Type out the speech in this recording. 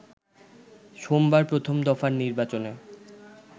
সোমবার প্রথম দফার নির্বাচনে